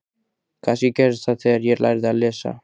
Kannski gerðist það þegar ég lærði að lesa.